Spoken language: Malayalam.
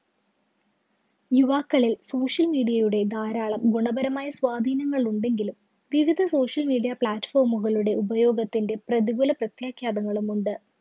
യുവാക്കളില്‍ social media യുടെ ധാരാളം ഗുണപരമായ സ്വാധീനങ്ങള്‍ ഉണ്ടെങ്കിലും, വിവിധ social media platform കളുടെ ഉപയോഗത്തിന്റെ പ്രതികൂല പ്രത്യാഘാതങ്ങളും ഉണ്ട്.